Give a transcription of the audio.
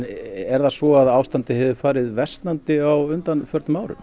er það svo að ástandið hefur farið versnandi á undanförnum árum